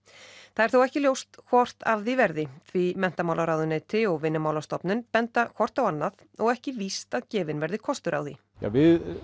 það er þó ekki ljóst hvort af því verði því menntamálaráðuneyti og Vinnumálastofnun benda hvort á annað og ekki víst að gefinn verði kostur á því við